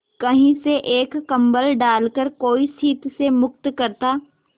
कहीं से एक कंबल डालकर कोई शीत से मुक्त करता